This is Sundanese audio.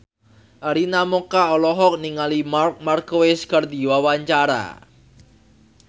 Arina Mocca olohok ningali Marc Marquez keur diwawancara